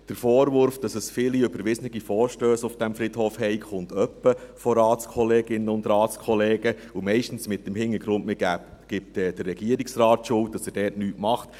Der Vorwurf, es habe viele überwiesene Vorstösse auf diesem Friedhof, kommt hin und wieder von Ratskolleginnen und Ratskollegen, und meistens mit dem Hintergrund, dass man dem Regierungsrat die Schuld gibt, er mache dort nichts.